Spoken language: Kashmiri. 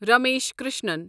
رمیش کرشنن